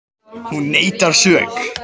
Hún neitar sök